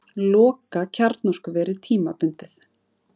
Loka kjarnorkuveri tímabundið